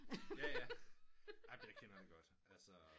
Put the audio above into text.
Jaja amen det kender vi godt altså